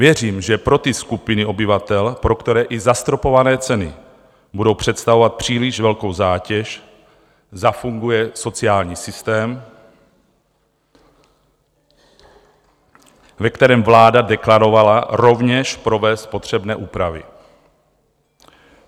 Věřím, že pro ty skupiny obyvatel, pro které i zastropované ceny budou představovat příliš velkou zátěž, zafunguje sociální systém, ve kterém vláda deklarovala rovněž provést potřebné úpravy.